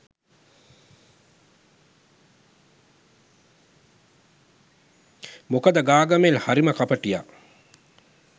මොකද ගාගමෙල් හරිම කපටියා.